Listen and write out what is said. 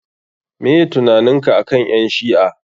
Meh tunaninka akan ƴan shi'a?